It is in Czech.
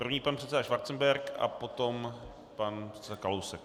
První pan předseda Schwarzenberg a potom pan předseda Kalousek.